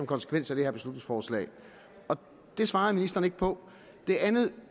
konsekvens af det her beslutningsforslag det svarede ministeren ikke på det andet